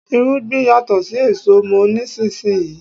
Irúgbìn yàtò sí èso, mò nísinsìnyí.